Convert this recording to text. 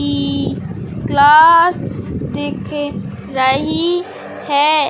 कि क्लास दिख रही है।